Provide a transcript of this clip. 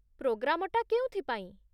ପ୍ରୋଗ୍ରାମଟା କେଉଁଥି ପାଇଁ?